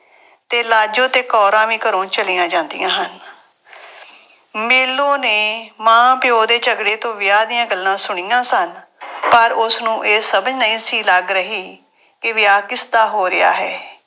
ਤੇ ਲਾਜੋ ਤੇ ਕੌਰਾਂ ਵੀ ਘਰੋਂ ਚਲੀਆਂ ਜਾਂਦੀਆਂ ਹਨ। ਮੇਲੋਂ ਨੇ ਮਾਂ-ਪਿਉ ਦੇ ਝਗੜੇ ਤੋਂ ਵਿਆਹ ਦੀਆਂ ਗੱਲਾਂ ਸੁਣੀਆਂ ਸਨ ਪਰ ਉਸਨੂੰ ਇਹ ਸਮਝ ਨਹੀਂ ਸੀ ਲੱਗ ਰਹੀ ਕਿ ਵਿਆਹ ਕਿਸਦਾ ਹੋ ਰਿਹਾ ਹੈ।